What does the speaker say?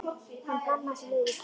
Hann hlammaði sér niður í stól.